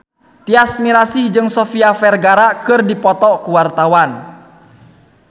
Tyas Mirasih jeung Sofia Vergara keur dipoto ku wartawan